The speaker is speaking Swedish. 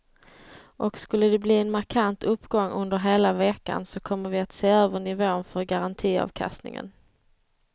Och skulle de bli en markant uppgång under hela veckan så kommer vi att se över nivån för garantiavkastningen.